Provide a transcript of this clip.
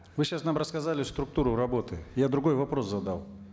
вы сейчас нам рассказали структуру работы я другой вопрос задал